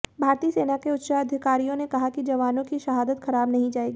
भारतीय सेना के उच्चाधिकारियों ने कहा है कि जवानों की शहादत खराब नहीं जाएगी